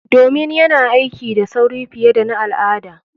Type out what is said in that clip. Domin yana aiki da sauri fiye da na al'ada.